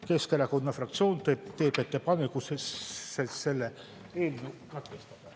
Keskerakonna fraktsioon teeb ettepaneku eelnõu katkestada.